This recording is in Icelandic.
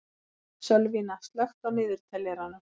Sölvína, slökktu á niðurteljaranum.